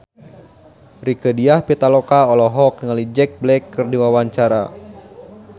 Rieke Diah Pitaloka olohok ningali Jack Black keur diwawancara